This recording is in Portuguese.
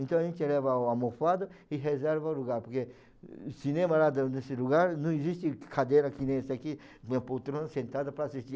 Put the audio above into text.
Então a gente leva a a almofado e reserva o lugar, porque no cinema lá desse lugar não existe cadeira que nem essa aqui, com a poltrona sentada para assistir.